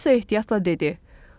Alisa ehtiyatla dedi: